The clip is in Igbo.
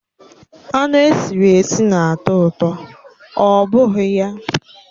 Anụ esiri esi na-atọ ụtọ, ọ bụghị ya?